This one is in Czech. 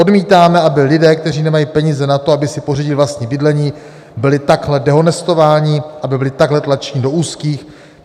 Odmítáme, aby lidé, kteří nemají peníze na to, aby si pořídili vlastní bydlení, byli takhle dehonestováni, aby byli takhle tlačeni do úzkých.